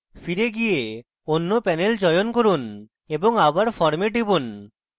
ফিরে go অন্য panel চয়ন করুন এবং আবার form এ টিপুন